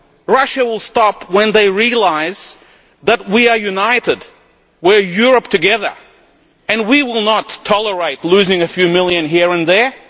stop. Russia will stop when they realise that we are united that we are Europe together and that we will not tolerate losing a few million here and there.